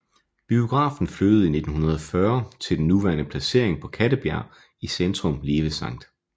Biografen flyttede i 1940 til den nuværende placering på Kattebjerg i centrum lige ved Skt